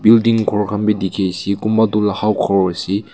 building ghor khan bi dikhi ase kumba toh ghor ase.